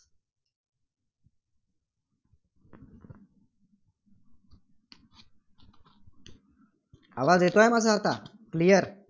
आवाज येतोयं माझा आता? clear